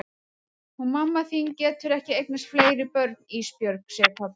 Hún mamma þín getur ekki eignast fleiri börn Ísbjörg, segir pabbi.